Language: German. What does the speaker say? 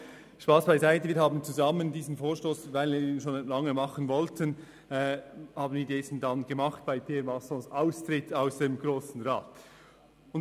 Spass beiseite: Wir haben diesen schon lange geplanten Vorstoss zusammen bei Pierre Massons Austritt aus dem Grossen Rat entworfen.